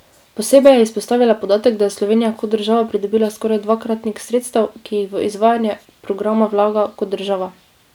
Posebej je izpostavila podatek, da je Slovenija kot država pridobila skoraj dvakratnik sredstev, ki jih v izvajanje programa vlaga kot država.